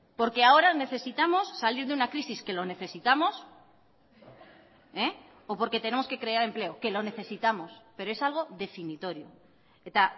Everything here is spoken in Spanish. porque ahora necesitamos salir de una crisis que lo necesitamos o porque tenemos que crear empleo que lo necesitamos pero es algo definitorio eta